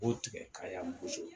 B'o tigɛ ka yan boso